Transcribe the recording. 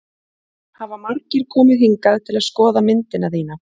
Hafa margir komið hingað til að skoða myndina þína?